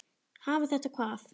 Hafa þetta hvað?